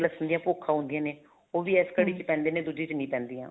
ਲੱਸਣ ਦੀਆਂ ਭੁੰਖਾਂ ਹੁੰਦੀਆਂ ਨੇ ਉਹ ਵੀ ਕੜੀ ਵਿੱਚ ਪੈਂਦੀਆਂ ਦੁੱਜੇ ਵਿੱਚ ਨਹੀਂ ਪੈਂਦੀਆਂ ਨੇ